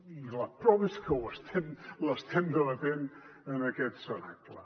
i la prova és que l’estem debatent en aquest cenacle